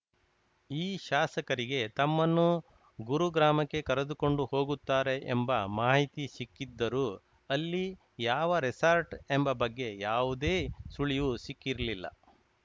ಈ ಶಾಸಕರಿಗೆ ತಮ್ಮನ್ನು ಗುರುಗ್ರಾಮಕ್ಕೆ ಕರೆದುಕೊಂಡು ಹೋಗುತ್ತಾರೆ ಎಂಬ ಮಾಹಿತಿ ಸಿಕ್ಕಿದ್ದರೂ ಅಲ್ಲಿ ಯಾವ ರೆಸಾರ್ಟ್‌ ಎಂಬ ಬಗ್ಗೆ ಯಾವುದೇ ಸುಳಿವು ಸಿಕ್ಕಿರ್ಲಿಲ್ಲ